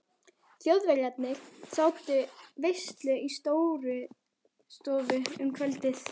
Þjóðverjarnir sátu veislu í Stórustofu um kvöldið.